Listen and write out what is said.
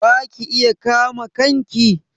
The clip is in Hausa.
Ba ki iya kama kanki?